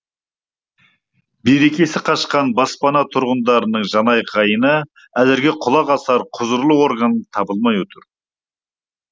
берекесі қашқан баспана тұрғындарының жанайқайына әзірге құлақ асар құзырлы орган табылмай отыр